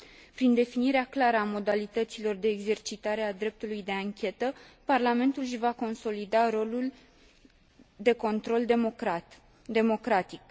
Prin definirea clară a modalităților de exercitare a dreptului de anchetă Parlamentul își va consolida rolul de control democratic.